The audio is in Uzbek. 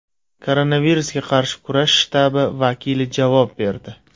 Koronavirusga qarshi kurash shtabi vakili javob berdi.